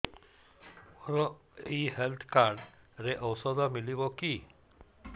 ମୋର ଏଇ health card ରେ ଔଷଧ ମିଳିବ କି